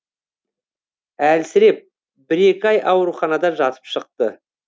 әлсіреп бір екі ай ауруханада жатып шықты